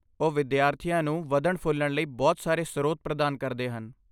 ਉਹ ਵਿਦਿਆਰਥੀਆਂ ਨੂੰ ਵਧਣ ਫੁੱਲਣ ਲਈ ਬਹੁਤ ਸਾਰੇ ਸਰੋਤ ਪ੍ਰਦਾਨ ਕਰਦੇ ਹਨ